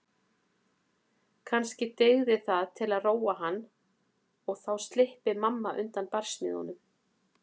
Kannski dygði það til að róa hann og þá slyppi mamma undan barsmíðunum.